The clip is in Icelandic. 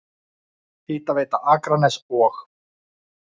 Hitaveita Akraness og